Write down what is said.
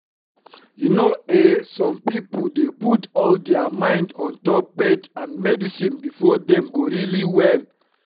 you know eh some pipo dey put all dia mind ontop faith and medicine befor dem go really well?